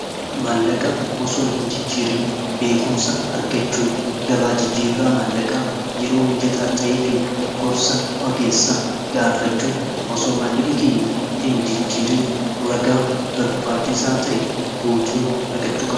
maallaqaa osoo hin jijjiirin beekumsa argachuu gabaa jijjiirraa maallaqaa yeroo mijataa ta'ee fi gorsa ogeessaa gaafachuun osoo maallaqa keenya hin jijjiirin ragaa barbaachisaa ta'e guutuu argachuu